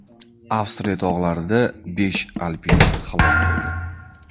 Avstriya tog‘larida besh alpinist halok bo‘ldi.